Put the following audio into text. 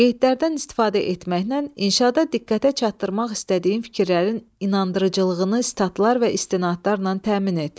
Qeydlərdən istifadə etməklə inşada diqqətə çatdırmaq istədiyin fikirlərin inandırıcılığını, statlar və istinadlarla təmin et.